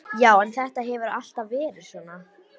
Já en þetta hefur alltaf verið svona.